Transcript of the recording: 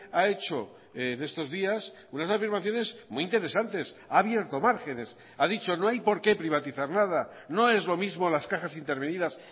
ha hecho en estos días unas afirmaciones muy interesantes ha abierto márgenes ha dicho no hay porqué privatizar nada no es lo mismo las cajas intervenidas